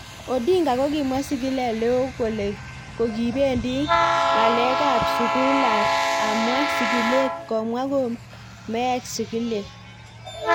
Odinga ko kimwa sigilet, �leo ko kibendi ng�alekab sugulab amwa sigilet, komwa ko meek sigilet.�